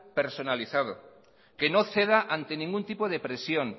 personalizado que no ceda ante ningún tipo de presión